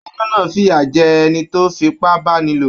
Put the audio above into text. Adájọ náà f'iya jẹ ẹni tó f'ipa báníló.